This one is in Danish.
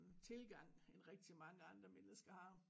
Tilgang end rigtig mange andre mennesker har